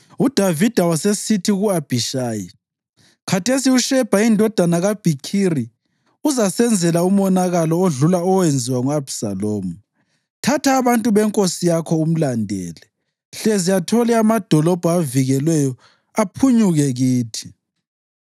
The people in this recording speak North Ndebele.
UDavida wasesithi ku-Abhishayi, “Khathesi uShebha indodana kaBhikhiri uzasenzela umonakalo odlula owenziwa ngu-Abhisalomu. Thatha abantu benkosi yakho umlandele, hlezi athole amadolobho avikelweyo aphunyuke kithi.”